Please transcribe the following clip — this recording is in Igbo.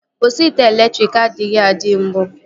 Osi ite elektriki adịghị adị mbụ